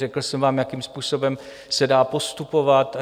Řekl jsem vám, jakým způsobem se dá postupovat.